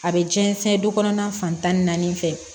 A bɛ jɛn sɛn du kɔnɔna fan tan ni naani fɛ